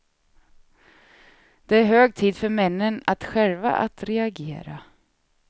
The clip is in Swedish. Det är hög tid för männen att själva att reagera.